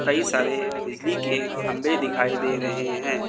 कई सारे बिजली के खंभे दिखाई दे रहे हैं।